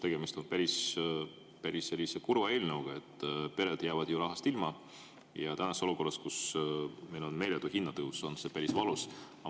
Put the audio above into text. Tegemist on päris kurva eelnõuga, pered jäävad ju rahast ilma, ja olukorras, kus meil on meeletu hinnatõus, on see päris valus.